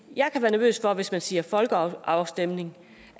jeg kan være nervøs for at hvis man siger folkeafstemning